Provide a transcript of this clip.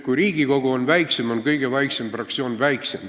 Kui Riigikogu on väiksem, on ka kõige väiksem fraktsioon väiksem.